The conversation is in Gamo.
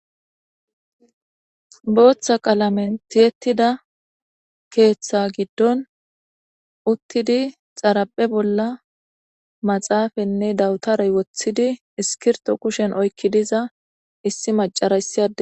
Bootha qalamen tiyettida keeththa giddon uttidi xaraphe bolla maxaafanne dawutarey wotidi iskirto kushen oykki diza issi macarayssi ade